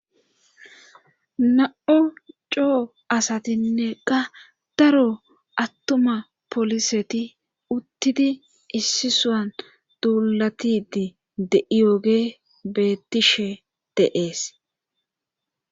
na7o coo asatinneqa daro attuma poliseti uttidi issisuan duulatidi de7iyoge bettishe deees